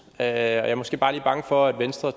jeg er måske bare lige bange for at venstre